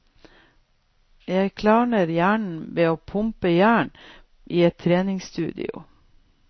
Jeg klarner hjernen ved å pumpe jern i et treningsstudio.